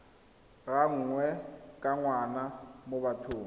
gangwe ka ngwaga mo bathong